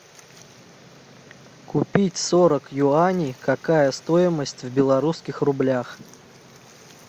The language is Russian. купить сорок юаней какая стоимость в белорусских рублях